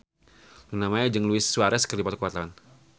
Luna Maya jeung Luis Suarez keur dipoto ku wartawan